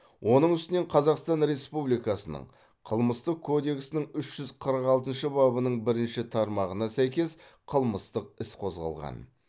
оның үстінен қазақстан республикасының қылмыстық кодексінің үш жүз қырық алтыншы бабының бірінші тармағына сәйкес қылмыстық іс қозғалған